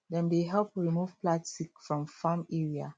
dem dey help remove plastic from farm area